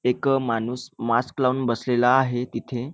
एक माणूस मास्क लावून बसलेला आहे तिथे.